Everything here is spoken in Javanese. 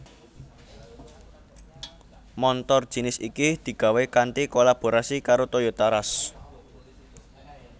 Montor jinis iki digawé kanthi kolaborasi karo Toyota Rush